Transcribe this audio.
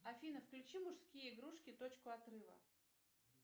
афина включи мужские игрушки точку отрыва